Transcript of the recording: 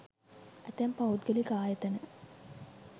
ඇතැම් පෞද්ගලික ආයතන